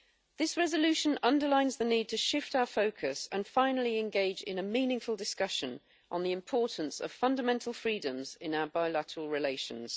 This resolution underlines the need to shift our focus and finally engage in a meaningful discussion on the importance of fundamental freedoms in our bilateral relations.